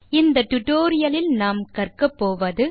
இந்த டுடோரியலின் இறுதியில் உங்களால் செய்யமுடிவது